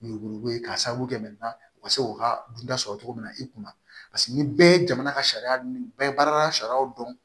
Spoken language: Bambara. Yuruku ye k'a sababu kɛ u ka se k'u ka dunta sɔrɔ cogo min na i kunna ni bɛɛ ye jamana ka sariya dun bɛɛ ye baarada sariyaw dɔn